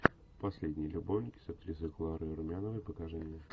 последние любовники с актрисой кларой румяновой покажи мне